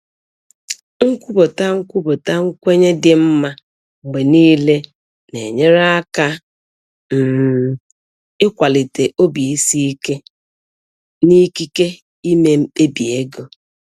Nkwupụta Nkwupụta nkwenye dị mma mgbe niile n'enyere aka um ịkwalite obi isi ike n'ikike ime mkpebi ego.